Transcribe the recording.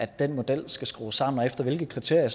den model skal skrues sammen og efter hvilke kriterier